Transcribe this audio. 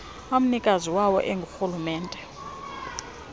amnikazi wawo ingurhulumente